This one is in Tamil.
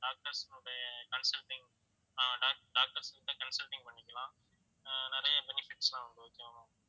doctors னுடைய consulting ஆஹ் doc~ doctors கிட்ட consulting பண்ணிக்கலாம் அஹ் நிறைய benefits லாம் உண்டு okay வா ma'am